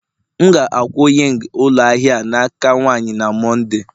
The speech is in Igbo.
M ga-akwụ ying ụlọ ahịa a n'aka nwanyị na Mọnde